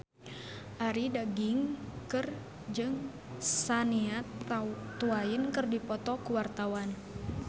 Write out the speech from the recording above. Arie Daginks jeung Shania Twain keur dipoto ku wartawan